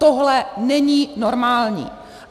Tohle není normální.